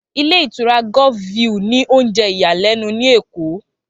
Ilé ìtura Golf view ní oúnjẹ ìyàlẹ́nu ní Èkó